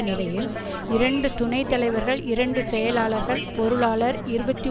நிலையில் இரண்டு துணை தலைவர்கள் இரண்டு செயலாளர்கள் பொருளாளர் இருபத்தி